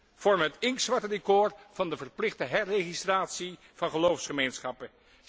Dit vormt het inktzwarte decor van de verplichte herregistratie van geloofsgemeenschappen.